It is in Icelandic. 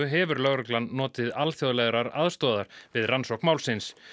hefur lögreglan notið alþjóðlegrar aðstoðar við rannsókn málsins